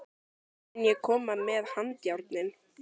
Mun ég koma með handjárnin?